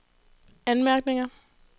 anmærkninger